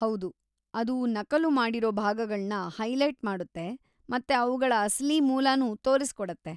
ಹೌದು, ಅದು ನಕಲು ಮಾಡಿರೋ ಭಾಗಗಳ್ನ ಹೈಲೈಟ್‌ ಮಾಡುತ್ತೆ ಮತ್ತೆ ಅವ್ಗಳ ಅಸಲಿ ಮೂಲನೂ ತೋರ್ಸಿಕೊಡತ್ತೆ.